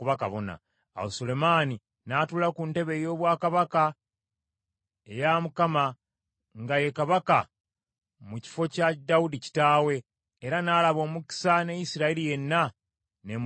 Awo Sulemaani n’atuula ku ntebe ey’obwakabaka eya Mukama nga ye kabaka mu kifo kya Dawudi kitaawe, era n’alaba omukisa ne Isirayiri yenna ne mugondera.